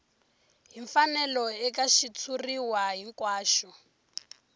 hi mfanelo eka xitshuriwa hinkwaxo